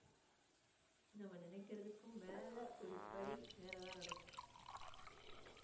நம்ம நினைக்கிறதுக்கும் மேல ஒரு படி மேல தான் நடக்குது.